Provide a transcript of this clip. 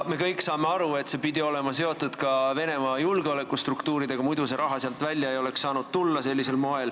Me kõik saame aru, et see pidi olema seotud ka Venemaa julgeolekustruktuuridega, muidu see raha sealt sellisel moel välja ei oleks saanud tulla.